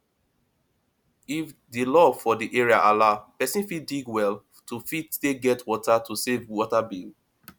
if di law for di area allow person fit dig well to fit take get water to save water bill